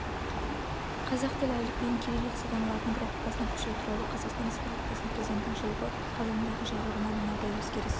қазақ тілі әліпбиін кириллицадан латын графикасына көшіру туралы қазақстан республикасы президентінің жылғы қазандағы жарлығына мынадай өзгеріс